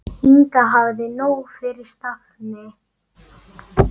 Inga hafði nóg fyrir stafni.